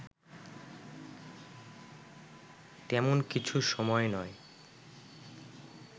তেমন কিছু সময় নয়